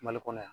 Mali kɔnɔ yan